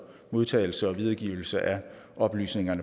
modtagelse og videregivelse af oplysninger